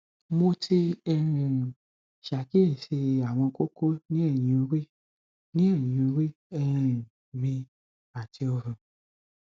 mo ti um ṣàkíyèsí àwọn kókó ní ẹyìn orí ní ẹyìn orí um mi àti ọrùn